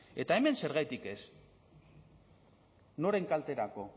eta hemen zergatik ez noren kalterako